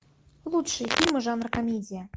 лучшие фильмы жанра комедия